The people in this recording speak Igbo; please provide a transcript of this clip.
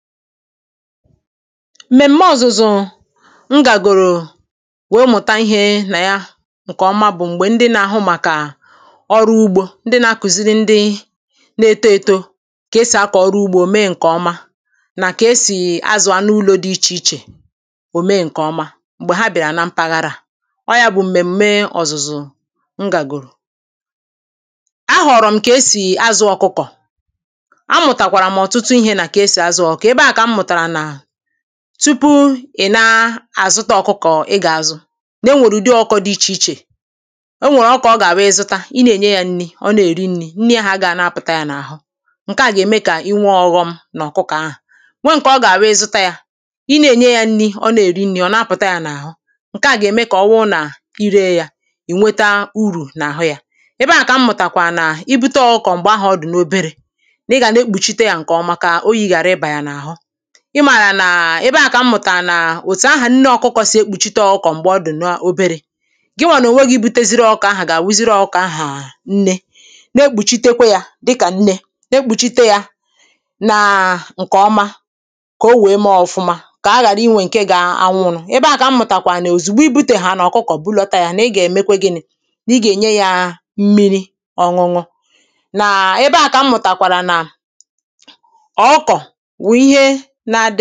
m̀mèm̀me ọ̀zụ̀zụ̀ m gàgòrò nwère mụ̀ta ihē nà ya ǹkè oma bụ̀ m̀gbè ndị nā-āhụ̄ màkà ọrụ ugbō ndị nā-ākụ̀ziri ndị nā-ētō ètò kà e sì akọ̀ ọrụ ugbō mee ǹkè ọma nà kà esì azụ̀ anụ ulō dị ichè ichè ò mee ǹkè ọma m̀gbè ha biàrà na mpaghara à, ọ wụ̀ ya bụ̀ m̀mèm̀me ọzụzụ m gàgòrò ahụ̀rụ̀ m̀ kà esì azụ̄ ọ̀kụkụ̀ àmụ̀tàkwàrà m̀ ọ̀tụtụ ihē nà kà ha sì azụ̄ ọ̀kụkụ̀, ebe ahụ̀ kà m mụ̀tàrà nà tụpụ ị̀ na-àzụta ọ̀kụkụ̀ ị gà-azụ̀ nà enwèrè ụ̀dị ọ̀kụkọ̄ dị ichè ichè enwèrè ọ̀kụkọ̀ ọ gà-àwụ ị zụta ị na-ènye yā nni ọ na-èri nnī, nni ahụ̀ agāhị̄ nā-apụ̀ta yā n’àhụ ǹke à gà-ème kà i nwee ọ̄ghọ̄ m n’ọ̀kụkụ̄ ahụ̀ nwe ǹkè ọ gà-àwụ ị zụta yā ị na-ènye yā n̄nī, ọ na-èri n̄nī ọ̀ na-apụ̀ta yā n’àhụ ǹke à gà-ème kà ọ wụrụ nà i ree yā ì weta urù n’àhụ yā ebe ahụ̀ kà m mụ̀tàkwàrà nà i bute ọ̀kụkụ̀ m̀gbè ahụ̀ ọ dị̀ n’oberē nà ị gà na-ekpùchite yā ǹkè ọma kà oyī ghàra ịbà yà n’àhụ ị màrà nà ebe ahụ̀ kà m mụ̀tàrà nà ètù ahụ̀ nne ọ̄kụ̄kụ̀ sì ekpùchite ọkụkụ̀ m̀gbè ọ dị̀ n’oberē gịwà nà ònwe gị̄ buteziri ọ̀kụkọ̀ ahụ̀ gà-àwụzịrị ọ̀kụkọ̀ ahụ̀ nne, na-ekpùchitekwe yā dịkà nne na-ekpùchite yā nà ǹkè ọma kà o nwère mee ọ̀fụma kà ha ghàra inwē ǹke gā-ānwụ̄nụ̀, ebe ahụ̀ kà m mụ̀tàkwàrà nà òzìgbo i bùtèhànà ọ̀kụkụ̀ bulọta yā nà ị gà-èmekwa gịnị̄ nà ị gà ènye yā mmiri ọ̄nụ̄nụ̄ n’ebe ahụ̀ kà m mụ̀tàkwàrà nà ọ̀kụkọ̀ wụ̀ ihe nā-ādị̄.